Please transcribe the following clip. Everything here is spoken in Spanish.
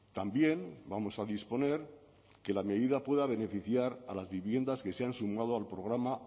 también vamos a disponer que la medida pueda beneficiar a las viviendas que se han sumado al programa